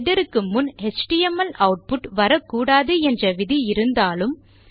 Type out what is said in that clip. header க்கு முன் HTML output வரக்கூடாது என்ற விதி இருந்தாலும்